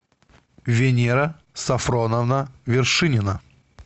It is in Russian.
венера сафроновна вершинина